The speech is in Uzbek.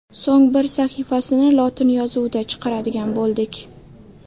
So‘ng bir sahifasini lotin yozuvida chiqaradigan bo‘ldik.